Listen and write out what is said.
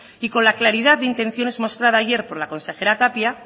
y con la claridad de intenciones mostrada ayer por la consejera tapia